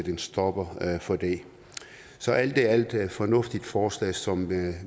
en stopper for det så alt i alt et fornuftigt forslag som